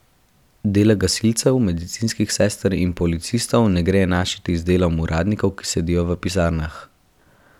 Dela gasilcev, medicinskih sester in policistov ne gre enačiti z delom uradnikov, ki sedijo v pisarnah.